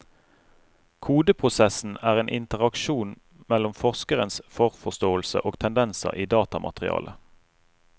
Kodeprosessen er en interaksjon mellom forskerens forforståelse og tendenser i datamaterialet.